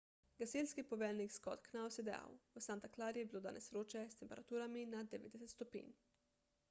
gasilski poveljnik scott knous je dejal v santa clari je bilo danes vroče s temperaturami nad 90 stopinj